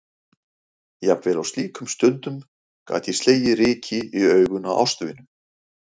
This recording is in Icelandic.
Jafnvel á slíkum stundum gat ég slegið ryki í augun á ástvinu.